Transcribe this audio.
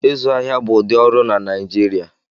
Ịzụ ahịa bụ ụdị ọrụ na Naijiria